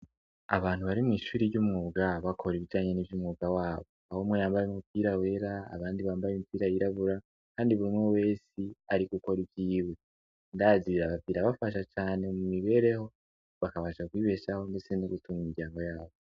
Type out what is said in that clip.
Abantu bari mw'ishuri ry'umwuga bakora ibijanye nivy'umwuga wabo; ahumwe yambaye umupira wera abandi bambaye imipira yirabura kandi burumwe wese arigukora ivyiwe. Ndazi birabafasha cane mumibereho bakabasha kwibeshaho ndetse no gutunga imiryango yabo.